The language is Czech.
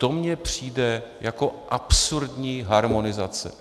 To mně přijde jako absurdní harmonizace.